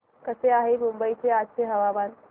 कसे आहे मुंबई चे आजचे हवामान